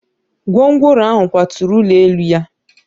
Gwongworo ahụ kwaturu ụlọ elu ya